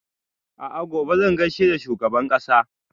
A'a gobe zan gaishe da shugaban ƙasa